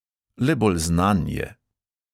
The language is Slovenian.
Le bolj znan je.